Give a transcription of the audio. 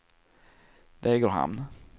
Degerhamn